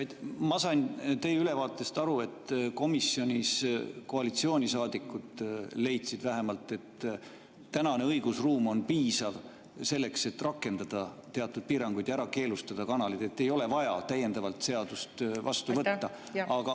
Ma sain teie ülevaatest aru, et komisjonis vähemalt koalitsioonisaadikud leidsid, et tänane õigusruum on piisav selleks, et rakendada teatud piiranguid ja keelustada kanalid, selleks ei ole vaja täiendavalt seadust vastu võtta.